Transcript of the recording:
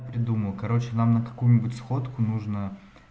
придумал короче нам на какую-нибудь сходку нужно